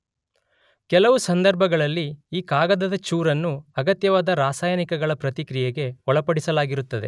ಕೆಲವು ಸಂದರ್ಭಗಳಲ್ಲಿ ಈ ಕಾಗದದ ಚೂರನ್ನು ಅಗತ್ಯವಾದ ರಾಸಾಯನಿಕಗಳ ಪ್ರತಿಕ್ರಿಯೆಗೆ ಒಳಪಡಿಸಲಾಗಿರುತ್ತದೆ.